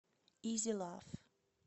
изи лав